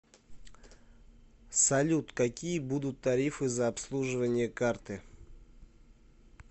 салют какие будут тарифы за обслуживание карты